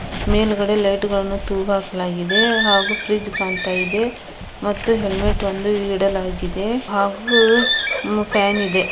ಮೇಲ್ಗಡೆ ಲೈಟುಗಳನ್ನು ತೂಗ್ ಹಾಕಲಾಗಿದೆ ಹಾಗೂ ಫ್ರಿಡ್ಜ್ ಕಾಣ್ತ ಇದೆ. ಮತ್ತು ಹೆಲ್ಮೆಟ್ ಒಂದು ಇಡಲಾಗಿದೆ ಹಾಗೂ ಮ್ ಫ್ಯಾನ್ ಇದೆ.